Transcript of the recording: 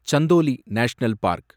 Chandoli National park